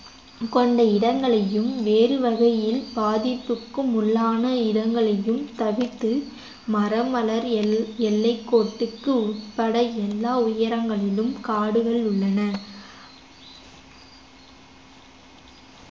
கொண்ட இடங்களையும் வேறு வகையில் பாதிப்புக்கும் உள்ளான இடங்களையும் தவிர்த்து மரம் வளர் எல்~ எல்லைக்கோட்டுக்கு உட்பட எல்லா உயரங்களிலும் காடுகள் உள்ளன